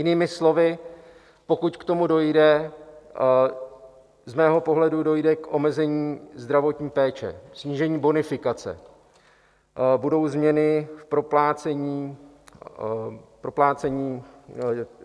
Jinými slovy, pokud k tomu dojde, z mého pohledu dojde k omezení zdravotní péče, snížení bonifikace, budou změny v proplácení lázeňské péče.